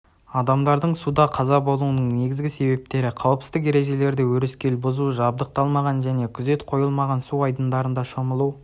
адамдардың суда қаза болуының негізгі себептері қауіпсіздік ережелерді өрескел бұзу жабдықталмаған және күзетқойылмаған су айдындарында шомылу